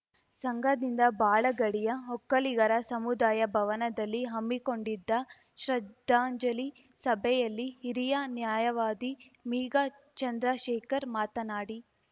ಸಂಘದಿಂದ ಬಾಳಗಡಿಯ ಒಕ್ಕಲಿಗರ ಸಮುದಾಯ ಭವನದಲ್ಲಿ ಹಮ್ಮಿಕೊಂಡಿದ್ದ ಶ್ರದ್ಧಾಂಜಲಿ ಸಭೆಯಲ್ಲಿ ಹಿರಿಯ ನ್ಯಾಯವಾದಿ ಮೀಗ ಚಂದ್ರಶೇಖರ್‌ ಮಾತನಾಡಿ